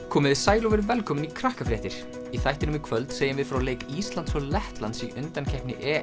komiði sæl og verið velkomin í í þættinum í kvöld segjum við frá leik Íslands og Lettlands í undankeppni